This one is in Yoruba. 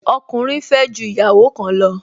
Ọkùnrin fẹ́ ju ìyàwó kan lọ